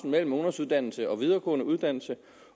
mellem ungdomsuddannelsen og den videregående uddannelse